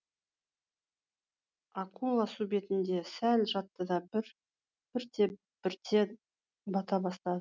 акула су бетінде сәл жатты да бірте бірте бата бастады